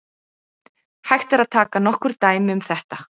Hægt er að taka nokkur dæmi um þetta.